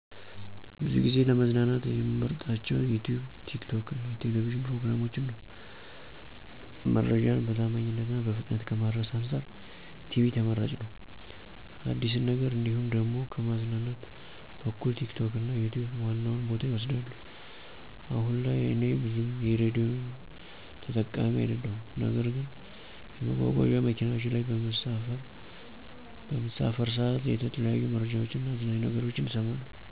ብዙ ጊዜ ለመዝናናት ምመርጣቸው ዩትዩብ፣ ቲክቶክ የቴሌብጂን ፕሮግራሞችን ነው። መረጃን በታማኝነት እና በፍጥነት ከማድረስ አንፃር ቲቪ ተመራጭ ነው። አዲስን ነገር እንዲሁም ደሞ ከማዝናናት በኩል ቲክቶክ እና ዩትዩብ ዋናውን ቦታ ይወስዳሉ። አሁን ላይ እኔ ብዙም የሬዲዮ ተጠቃሚ አደለሁም ነገር ግን የመጓጓዚያ መኪናዎች ላይ በምሳፈር ሠዓት የተለያዩ መረጃዎች እና አዝናኝ ነገሮችን እሠማለሁ።